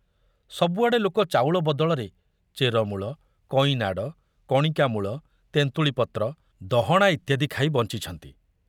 ସବୁଆଡ଼େ ଲୋକେ ଚାଉଳ ବଦଳରେ ଚେରମୂଳ, କଇଁନାଡ଼, କଣିକା ମୂଳ, ତେନ୍ତୁଳି ପତ୍ର, ଦହଣା ଇତ୍ୟାଦି ଖାଇ ବଞ୍ଚିଛନ୍ତି।